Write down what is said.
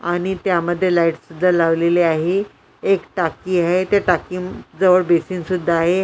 आणि त्यामध्ये लाईट सुद्धा लावलेली आहे एक टाकी आहे त्या टाकीम टाकीजवळ बेसिन सुद्धा आहे.